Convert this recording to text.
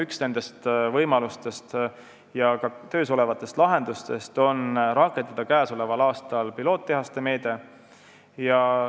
Üks nendest võimalustest ja ka töös olevatest lahendustest on rakendada sel aastal tööle piloottehased.